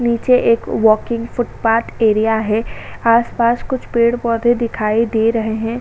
नीचे एक walking footpath area है आस-पास कुछ पेड़ -पौधे दिखाई दे रहे हैं।